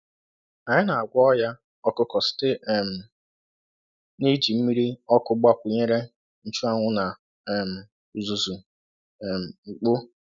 Anyị na-agwọ ọnya ọkụkọ site um n’iji mmiri ọkụ gbakwunyere nchuanwu na um uzuzu um ukpo.